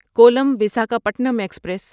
Kollam Visakhapatnam express